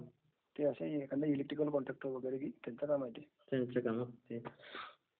is not clear